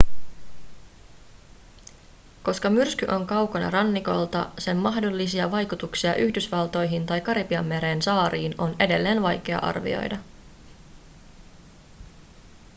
koska myrsky on kaukana rannikolta sen mahdollisia vaikutuksia yhdysvaltoihin tai karibianmeren saariin on edelleen vaikea arvioida